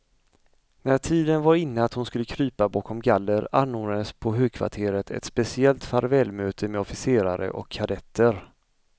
När tiden var inne att hon skulle krypa bakom galler, anordnades på högkvarteret ett speciellt farvälmöte med officerare och kadetter.